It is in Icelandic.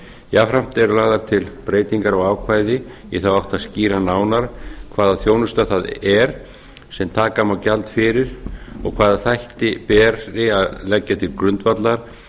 jafnframt eru lagðar til breytingar á ákvæði í þátt átt að skýra nánar hvaða þjónusta það er sem taka má gjald fyrir og hvaða þætti beri að leggja til grundvallar